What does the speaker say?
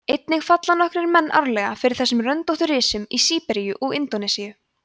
einnig falla nokkrir menn árlega fyrir þessum röndóttu risum í síberíu og indónesíu